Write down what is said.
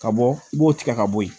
Ka bɔ i b'o tigɛ ka bɔ yen